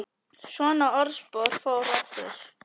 Svona orðspor fór af þér.